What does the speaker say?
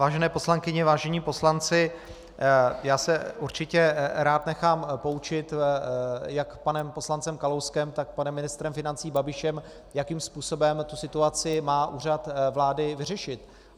Vážené poslankyně, vážení poslanci, já se určitě rád nechám poučit jak panem poslancem Kalouskem, tak panem ministrem financí Babišem, jakým způsobem tu situaci má Úřad vlády vyřešit.